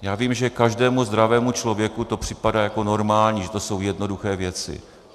Já vím, že každému zdravému člověku to připadá jako normální, že to jsou jednoduché věci.